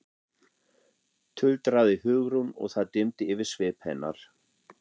tuldraði Hugrún og það dimmdi yfir svip hennar.